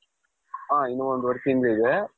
ಹ ಇನ್ನೂ ಒಂದೂವರೆ ತಿಂಗಳು ಇದೆ,